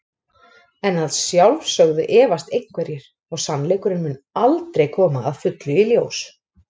En að sjálfsögðu efast einhverjir og sannleikurinn mun aldrei koma að fullu í ljós.